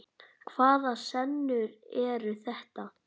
Hvaða senur eru þetta?